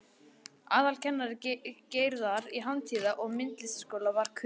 Aðalkennari Gerðar í Handíða- og myndlistaskólanum var Kurt